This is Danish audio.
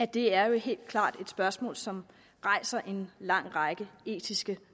det er jo helt klart et spørgsmål som rejser en lang række etiske